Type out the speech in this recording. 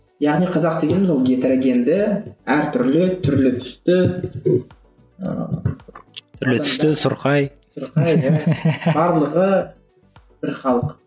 яғни қазақ дегеніміз ол геторогенді әртүрлі түрлі түсті ыыы түрлі түсті сұрқай сұрқай да барлығы бір халық